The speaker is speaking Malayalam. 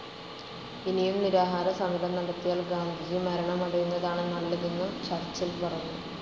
ഇനിയും നിരാഹാരസമരം നടത്തിയാൽ ഗാന്ധിജി മരണമടയുന്നതാണ് നല്ലതെന്നു ചർച്ചിൽ പറഞ്ഞു.